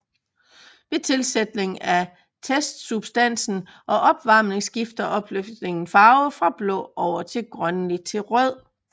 Ved tilsætning af testsubstansen og opvarmning skifter opløsningen farve fra blå over grønlig til rød